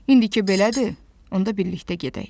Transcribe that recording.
İndiki belədir, onda birlikdə gedək.